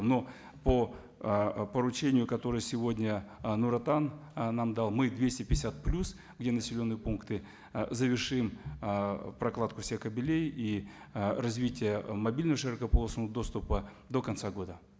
но по ы поручению которое сегодня ы нур отан ы нам дал мы двести пятьдесят плюс где населенные пункты ы завершим ыыы прокладку всех кабелей и ы развитие мобильного широкополосного доступа до конца года